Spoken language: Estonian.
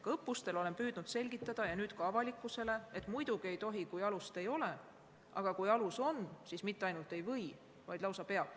Olen õppustel püüdnud selgitada ja nüüd püüan selgitada ka avalikkusele, et muidugi ei tohi, kui alust ei ole, aga kui alus on olemas, siis mitte ainult ei või, vaid lausa peab.